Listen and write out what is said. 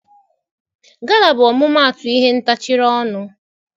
Gala bụ ọmụmaatụ ihe ntacharị ọnụ.